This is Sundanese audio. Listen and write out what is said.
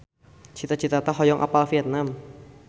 Cita Citata hoyong apal Vietman